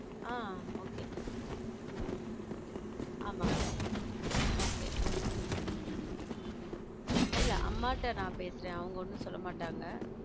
ஹம் okay உம் ஆமா okay உம் உம் இல்ல அம்மாட்ட நான் பேசுறேன் அவங்க ஒண்ணும் சொல்ல மாட்டாங்க